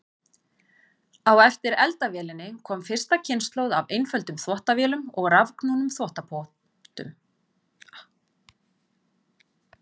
Á eftir eldavélinni kom fyrsta kynslóð af einföldum þvottavélum og rafknúnum þvottapottum.